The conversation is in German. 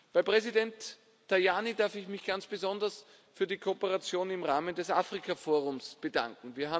Bei Präsident Tajani darf ich mich ganz besonders für die Kooperation im Rahmen des Afrikaforums bedanken.